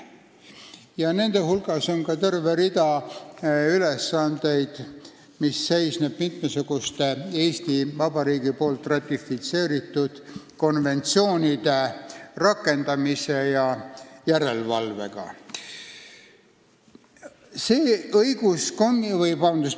Nende ülesannete hulgas on ka terve rida, mis on seotud mitmesuguste Eesti Vabariigi ratifitseeritud konventsioonide rakendamise ja järelevalvega.